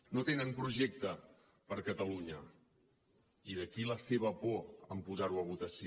no tenen projecte per a catalunya i d’aquí la seva por de posar ho a votació